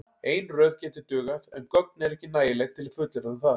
Ein röð gæti dugað en gögn eru ekki nægileg til að fullyrða um það.